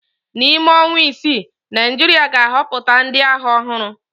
N'ime ọnwa isii, Naịjirịa ga-ahọpụta ndị agha ọhụrụ.